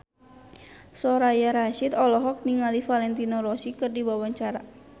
Soraya Rasyid olohok ningali Valentino Rossi keur diwawancara